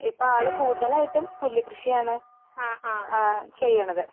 ഇപ്പോ ആള് കൂടുതലായിട്ടും പുല്ല് കൃഷിയാണ് ആ ചെയ്യണത്